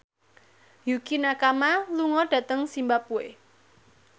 Yukie Nakama lunga dhateng zimbabwe